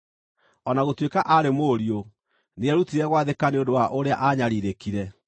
O na gũtuĩka aarĩ mũriũ, nĩerutire gwathĩka nĩ ũndũ wa ũrĩa aanyariirĩkire,